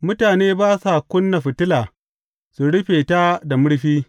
Mutane ba sa ƙuna fitila su rufe ta da murfi.